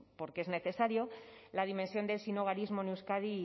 porque es necesario la dimensión del sinhogarismo en euskadi